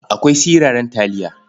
Akwai siraran taliya.